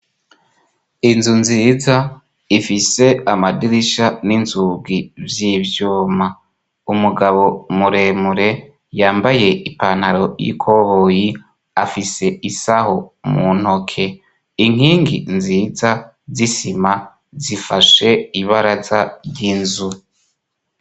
Inzu nziza ifise amadirisha n'inzugi vy'ivyoma umugabo muremure yambaye ipantaro y'ikoruyi afise isaho mu ntoke inkingi nziza zisima zifashe ibaraza ry'inzu.